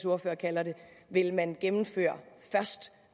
ordfører kalder det vil man gennemføre først